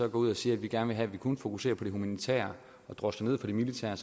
ud og siger at vi gerne vil have kun fokuserer på det humanitære og drosler ned for det militære